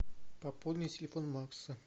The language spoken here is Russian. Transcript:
пополни телефон макса